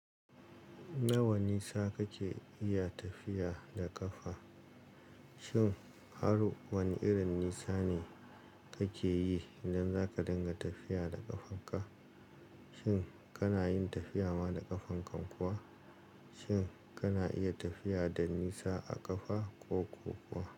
Nawa nisa kake iya tafiya da ƙafa? Shin har wane irin nisa ne kake yi idan zaka dinga tafiya da ƙafarka? Shin kana yin tafiya ma da ƙafanka kuwa? Shin kana iya tafiya da nisa a ƙafa ko kuwa.